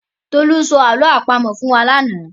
Tolú sọ àlọ́ àpamọ̀ fún wa lánàá.